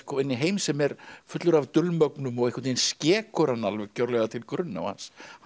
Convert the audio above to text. inn í heim sem er fullur af dulmögnun og einhvern veginn skekur hann algjörlega til grunna og hans hans